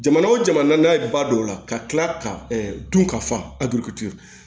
Jamana o jamana n'a ba do o la ka kila ka dun ka fa